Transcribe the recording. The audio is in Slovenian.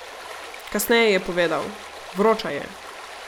Kasneje je povedal: "Vroča je.